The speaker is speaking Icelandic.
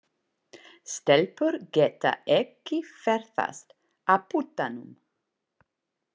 Stelpur geta ekki ferðast á puttanum.